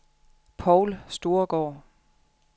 Poul Storgaard